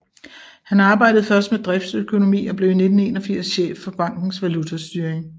Han arbejdede først med driftsøkonomi og blev i 1981 chef for bankens valutastyring